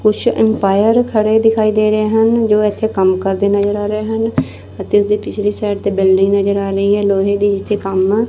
ਕੁਝ ਅਮਪਾਇਰ ਖੜੇ ਦਿਖਾਈ ਦੇ ਰਹੇ ਹਨ ਜੋ ਇਥੇ ਕੰਮ ਕਰਦੇ ਨਜ਼ਰ ਆ ਰਹੇ ਹਨ ਅਤੇ ਉਸਦੀ ਪਿਛਲੀ ਸਾਈਡ ਤੇ ਬਿਲਡਿੰਗ ਮੇਰੇ ਨਾਲ ਨਹੀਂ ਹ ਲੋਹੇ ਦੀ ਇੱਥੇ ਕੰਮ।